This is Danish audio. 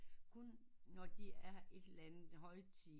Kun når de er et eller andet højtid